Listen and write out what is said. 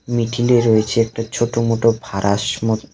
মিডিলে রয়েছে একটি ছোট মোটো